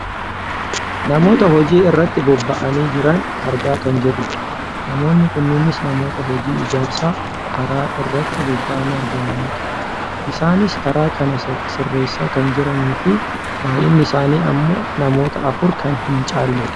Namoota hojii irratti bobba'anii jiran argaa kan jirrudha. Namoonni kunneenus namoota hojii ijaarsa karaa irratti bobba'anii argamanidha. Isaanis karaa kana sisiirreessaa kan jiraniifi baayyinni isaanii ammoo namoota afur kan hin caalledha.